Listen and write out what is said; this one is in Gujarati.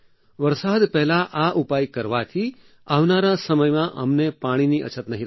વરસાદ પહેલા આ ઉપાય કરવાથી આવનારા સમયમાં અમને પાણીની અછત નહીં રહે